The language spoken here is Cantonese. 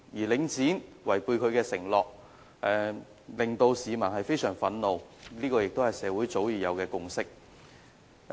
領展違背承諾，令市民相當憤怒，這亦是社會上早已有的共識。